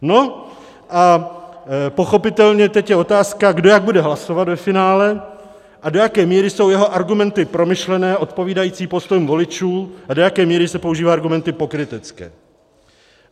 No a pochopitelně teď je otázka, kdo jak bude hlasovat ve finále a do jaké míry jsou jeho argumenty promyšlené, odpovídající postoji voličů, a do jaké míry se používají argumenty pokrytecké.